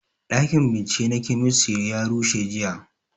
Ɗakin bincike na kemistri ya rushe jiya